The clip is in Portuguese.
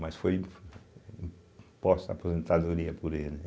Mas foi im imposta a aposentadoria por ele.